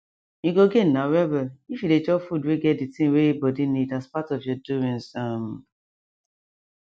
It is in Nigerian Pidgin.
u go gain na well well if you dey chop food wey get de tin wey body need as part of ur doings um